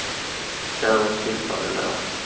Därom tvistar de lärde.